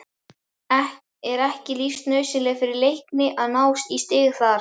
Er ekki lífsnauðsynlegt fyrir Leikni að ná í stig þar?